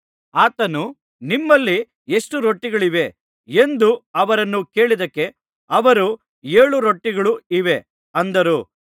ಆತನು ನಿಮ್ಮಲ್ಲಿ ಎಷ್ಟು ರೊಟ್ಟಿಗಳಿವೆ ಎಂದು ಅವರನ್ನು ಕೇಳಿದ್ದಕ್ಕೆ ಅವರು ಏಳು ರೊಟ್ಟಿಗಳು ಇವೆ ಅಂದರು